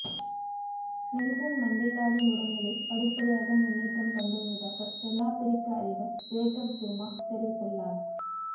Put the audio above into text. Nelson மண்டேலாவின் உடல்நிலை படிப்படியாக முன்னேற்றம் கண்டுவருவதாக தென்னாப்பிரிக்க அதிபர் ஜேகப் ஜூமா தெரிவித்துள்ளார்